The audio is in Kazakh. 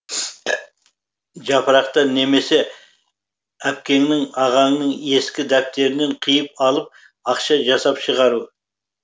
жапырақтан немесе әпкеңнің ағаңның ескі дәптерінен қиып алып ақша жасап шығару